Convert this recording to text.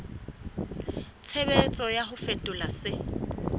tshebetso ya ho fetola se